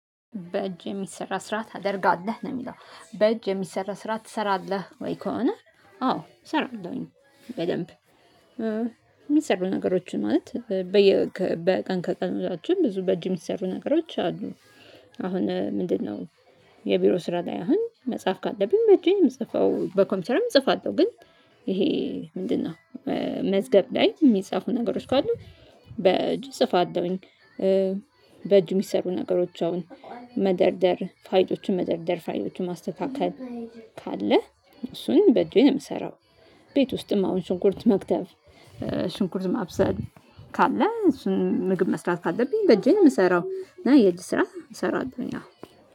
በእጅ የሚሰራ ስራ ታደርጋለህ ነው የሚለው በእጅ የሚሰራ ስራ ትሰራለህ ወይ? ከሆነ አዎ እሰራለሁኝ። በደንብ የሚሰሩ ነገሮችን ማለት በየ ከበ ቀን ከቀን ውሏችን ብዙ በእጅ የሚሰሩ ነገሮች አሉ። አሁን ምንድነው? የቢሮ ስራ ላይ አሁን መጽሐፍ ካለብኝ በእጄ ነው የምጽፈው በኮምፒውተርም እጽፋለሁ ግን። ይሄ ምንድነው? መዝገብ ላይ የሚጻፉ ነገሮች ካሉ በእጅ እጽፋለሁኝ። በእጅ የሚሰሩ ነገሮች አሁን መደርደር ፋይሎችን መደርደር ፋይሎችን ማስተካከል ካለ እሱን በእጄ ነው የምሰራው። ቤት ውስጥም አሁን ሽንኩርት መክተፍ ሽንኩርት ማብሰል ካለ እሱን ምግብ መስራት ካለብኝ በእጄ ነው የምሰራው። እና የእጅ ስራ እሰራለሁኝ አዎ።